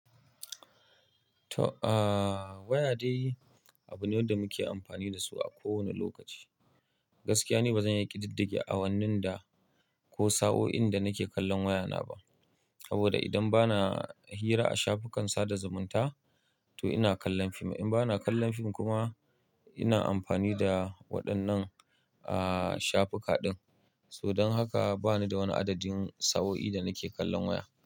To, aaaa waya dai abu ne da muke amfani da su a kowane lokaci. Gaskiya ne ba zan iya ƙididdige awannin da ko sa'oin da nake kallon waya na ba. Saboda idan ba na hira a shafukan sada zumunta to ina kallon fim. In ba na kallon fim kuma ina amfani da waɗannan aaaa shafuka din. Tuh dan haka bani da wani adadin sa'o'i da nake kallon waya.